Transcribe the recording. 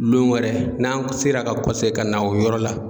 Lon wɛrɛ n'an kɔsegira ka kɔsegin ka na o yɔrɔ la